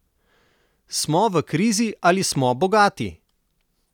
Smo v krizi ali smo bogati?